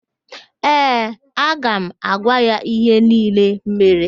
Ee, aga m agwa ya ihe niile mere